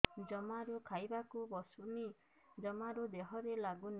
ଜମାରୁ ଖାଇବାକୁ ବସୁନି ଜମାରୁ ଦେହରେ ଲାଗୁନି